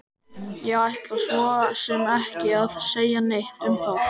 Ég ætla svo sem ekki að segja neitt um það!